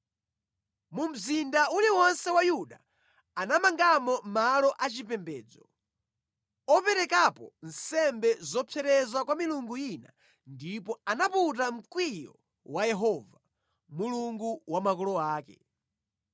Mu mzinda uliwonse wa Yuda anamangamo malo achipembedzo, operekerapo nsembe zopsereza kwa milungu ina ndipo anaputa mkwiyo wa Yehova, Mulungu wa makolo ake.